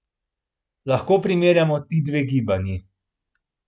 Lahko primerjamo ti dve gibanji?